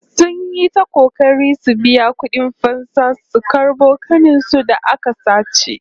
Sun yi ta kokari su biya kudin fansa su karbo ƙanin su da aka sace